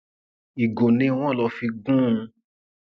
ìgò ni wọn lọ fi gún un